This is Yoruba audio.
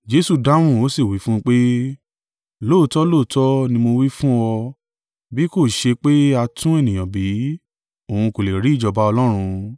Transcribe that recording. Jesu dáhùn ó sì wí fún un pé, “Lóòótọ́ lóòótọ́ ni mo wí fún ọ, bí kò ṣe pé a tún ènìyàn bí, òun kò lè rí ìjọba Ọlọ́run.”